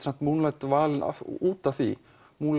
valin út af því